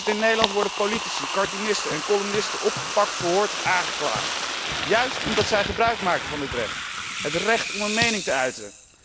In Nederland worden politici, cartoonisten en columnisten opgepakt, verhoord of aangeklaagd, juist omdat zij gebruik maken van dit recht, het recht om hun mening te uiten.